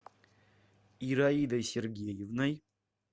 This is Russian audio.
ираидой сергеевной